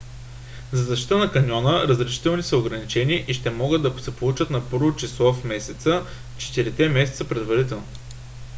за защита на каньона разрешителните са ограничени и ще могат да се получат на 1-во число на месеца четири месеца предварително